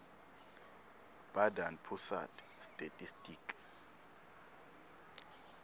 badan pusat statistik